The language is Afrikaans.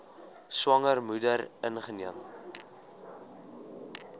swanger moeder ingeneem